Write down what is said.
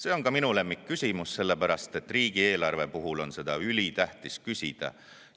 See on ka minu lemmikküsimus, sellepärast et riigieelarve puhul on seda ülitähtis küsida.